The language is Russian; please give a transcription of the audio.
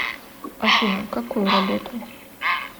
афина какую работу